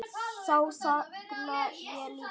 Þá þagna ég líka.